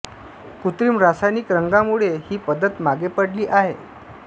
कृत्रिम रासायनिक रंगामुळे ही पद्धत मागे पडली आहे